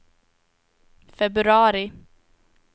februari